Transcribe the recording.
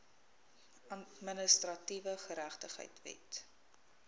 administratiewe geregtigheid wet